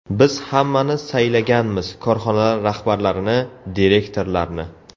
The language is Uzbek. Biz hammani saylaganmiz korxonalar rahbarlarini, direktorlarni.